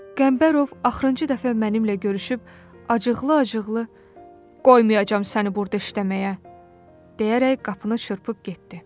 Qəmbərov axırıncı dəfə mənimlə görüşüb acıqlı-acıqlı Qoymayacam səni burda işləməyə deyərək qapını çırpıb getdi.